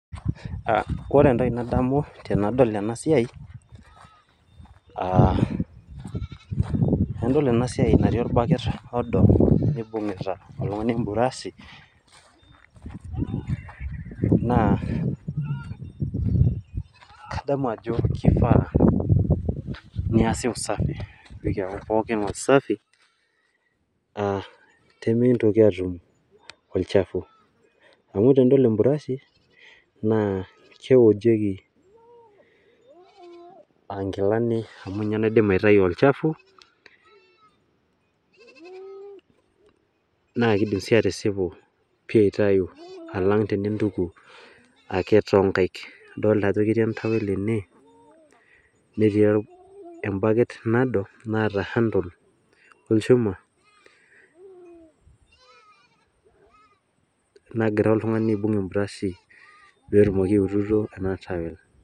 Ore entoki nadamu tenadol enasiai, enadol enasiai natii orbaket odo nibung'ita oltung'ani ebrashi, naa kadamu ajo kifaa niasi usafi. Pikiaku pookin wasafi, pimikintoki atum olchafu. Amu tenidol ebrashi, naa keojieki ah nkilani amu ninye naidim aitayu olchafu, na kidim si atisipu pi aitayu alang tenintuku ake tonkaik. Idolta ajo keyii entawel ene, netii ebaket nado, naata handle olchuma, nagira oltung'ani aibung' ebrashi petumoki aituku ena towel.